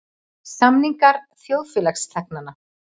Samningar þjóðfélagsþegnanna.